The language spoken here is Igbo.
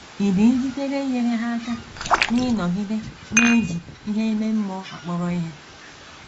Ị̀ dị njikere inyere ha aka n’ịnọgide na - eji ihe ime mmụọ akpọrọ ihe?